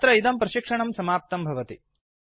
अत्र इदं प्रशिक्षणं समाप्तं भवति